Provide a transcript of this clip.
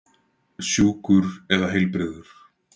Sjúkur eða heilbrigður?